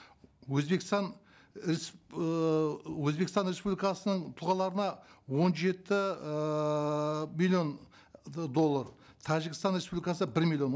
өзбекстан ыыы өзбекстан республикасының тұлғаларына он жеті ыыы миллион доллар тәжікстан республикасына бір миллион